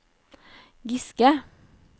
Giske